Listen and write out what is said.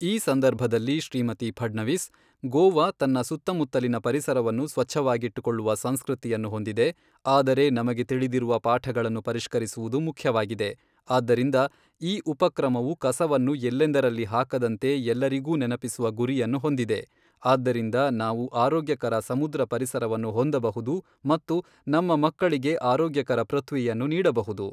ಈ ಸಂದರ್ಭದಲ್ಲಿ ಶ್ರೀಮತಿ ಫಡ್ನವಿಸ್, ಗೋವಾ ತನ್ನ ಸುತ್ತಮುತ್ತಲಿನ ಪರಿಸರವನ್ನು ಸ್ವಚ್ಛವಾಗಿಟ್ಟುಕೊಳ್ಳುವ ಸಂಸ್ಕೃತಿಯನ್ನು ಹೊಂದಿದೆ, ಆದರೆ ನಮಗೆ ತಿಳಿದಿರುವ ಪಾಠಗಳನ್ನು ಪರಿಷ್ಕರಿಸುವುದು ಮುಖ್ಯವಾಗಿದೆ, ಆದ್ದರಿಂದ ಈ ಉಪಕ್ರಮವು ಕಸವನ್ನು ಎಲ್ಲೆಂದರಲ್ಲಿ ಹಾಕದಂತೆ ಎಲ್ಲರಿಗೂ ನೆನಪಿಸುವ ಗುರಿಯನ್ನು ಹೊಂದಿದೆ, ಆದ್ದರಿಂದ ನಾವು ಆರೋಗ್ಯಕರ ಸಮುದ್ರ ಪರಿಸರವನ್ನು ಹೊಂದಬಹುದು ಮತ್ತು ನಮ್ಮ ಮಕ್ಕಳಿಗೆ ಆರೋಗ್ಯಕರ ಪೃಥ್ವಿಯನ್ನು ನೀಡಬಹುದು.